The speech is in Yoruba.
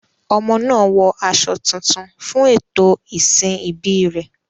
Ọmọ náà wọ aṣọ tuntun fún ètò ìsìn ìbí rẹ̀.